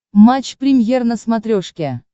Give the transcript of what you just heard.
матч премьер на смотрешке